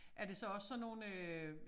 Er det så også sådan nogle øh